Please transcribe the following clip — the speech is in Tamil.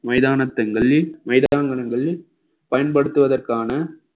மைதானத்திங்களை மைதானங்களில் பயன்படுத்துவதற்கான